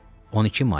12 may.